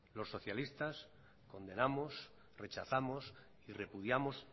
los socialistas condenamos rechazamos y repudiamos